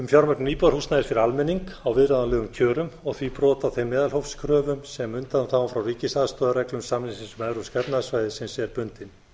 fjármögnun íbúðarhúsnæðis fyrir almenning á viðráðanlegum kjörum og því brot á þeim meðalhófskröfum sem undanþágan frá ríkisaðstoðarreglum samningsins um evrópska efnahagssvæðið er bundin